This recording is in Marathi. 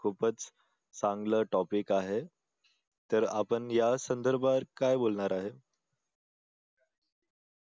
खूपच चांगलं topic आहे तर आपण या संदर्भात काय बोलणार आहे?